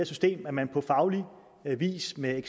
system jo at man på faglig vis med